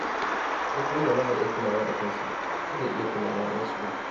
Duk wanda ba ya kulawa da kansa, ba zai iya kula da wasu ba.